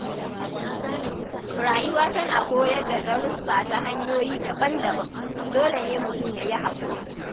Rayuwa tana koyar da darussa ta hanyoyi daban-daban, dole ne mutum ya yi haƙuri.